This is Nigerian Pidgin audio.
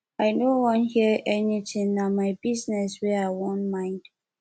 i no wan hear anything na my business wey i wan mind